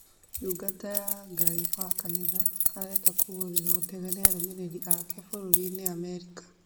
Ndungata ya Ngai wa kanitha arenda kũgũrirwa ndege ni afuasi ake bũrũrinĩ Amerika